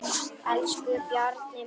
Elsku Bjarni minn.